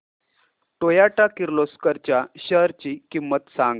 Toyota Kirloskar च्या shares ची किंमत सांग